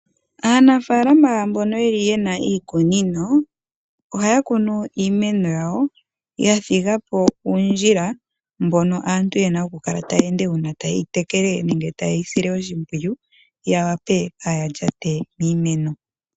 Aanafalama mbono yeli yena iikunino, ohaya kunu iimeno yawo yathiga po uundjila, mbono aantu yena okukala taya ende ngele taye yi tekele, nenge taye yi sile oshimpwiyu, kaaya lyate miimeno.